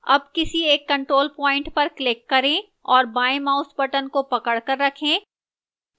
अब किसी एक control point पर click करें और बाएं mouse button को पकड़कर रखें